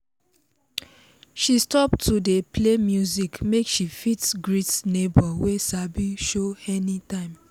she stop to dey play music make she fit greet neighbor wey sabi show any time